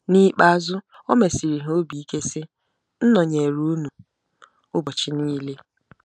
N’ikpeazụ, o mesiri ha obi ike, sị: “M nọnyeere unu ụbọchị niile .”